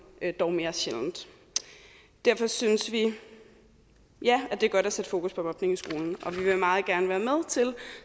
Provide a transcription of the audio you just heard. dog mere sjældent derfor synes vi at det er godt at sætte fokus på mobning i skolen og vi vil meget gerne